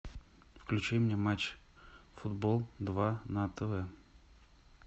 включи мне матч футбол два на тв